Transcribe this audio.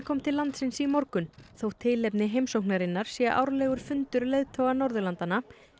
kom til landsins í morgun þótt tilefni heimsóknarinnar sé árlegur fundur leiðtoga Norðurlanda